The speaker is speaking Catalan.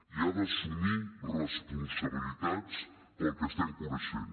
i ha d’assumir responsabilitats pel que estem coneixent